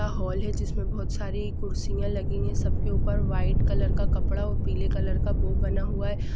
Hall है जिस मे बहोत सारी कुर्सियां लगी है सब के ऊपर वाइट कलर का कपडा और पीले कलर का बो बना हुआ है।